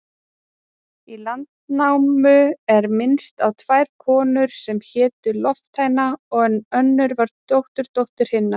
Í Landnámu er minnst á tvær konur sem hétu Lofthæna, en önnur var dótturdóttir hinnar.